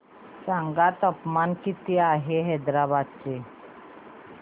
सांगा तापमान किती आहे हैदराबाद चे